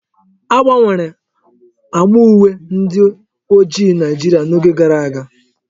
A gbanwere agba uwe ndi ojii Naijiria n'oge gara aga.